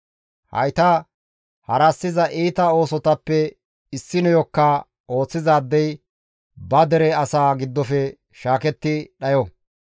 «Hayta harassiza iita oosotappe issineyokka ooththizaadey ba dere asaa giddofe shaaketti dhayo.